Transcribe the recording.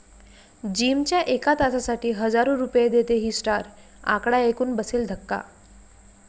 जिमच्या एका तासासाठी हजारो रुपये देते ही स्टार, आकडा ऐकून बसेल धक्का